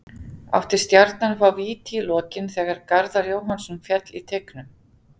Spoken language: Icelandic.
Átti Stjarnan að fá víti í lokin þegar Garðar Jóhannsson féll í teignum?